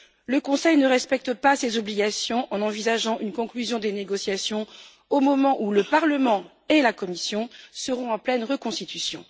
Le Conseil ne respecte pas ses obligations en envisageant une conclusion des négociations au moment où le Parlement et la Commission seront en pleine reconstitution.